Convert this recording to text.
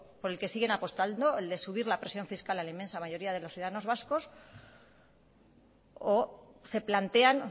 por el que siguen apostando el de subir la presión fiscal a la inmensa mayoría de los ciudadanos vascos o se plantean